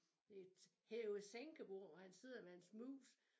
Det et hæve-sænke-bord og han sidder med hans mus